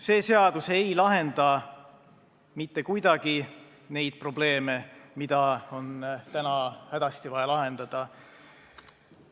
See seadus ei lahenda mitte kuidagi neid probleeme, mida on täna hädasti vaja lahendada.